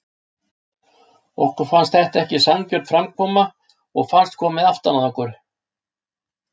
Okkur fannst þetta ekki sanngjörn framkomu og fannst komið aftan að okkur.